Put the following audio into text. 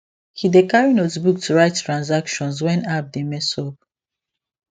he dey carry notebook to write transactions when app dey mess up